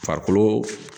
Farikolo